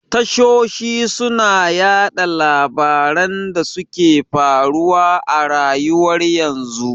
Tashoshi suna yaɗa labaran da suke faruwa a rayuwar yanzu